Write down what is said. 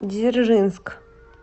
дзержинск